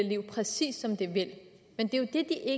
liv præcis som de vil men det